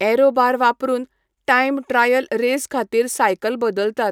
Arrow bar वापरून, time trial race खातीर cycle बदलतात.